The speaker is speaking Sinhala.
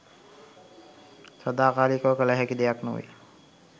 සදාකාලිකව කළ හැකි දෙයක් නොවේ.